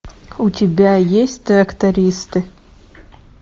у тебя есть трактористы